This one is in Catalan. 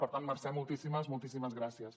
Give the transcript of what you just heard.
per tant mercè moltíssimes moltíssimes gràcies